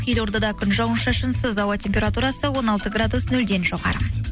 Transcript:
елордада күн жауын шашынсыз ауа температурасы он алты градус нөлден жоғары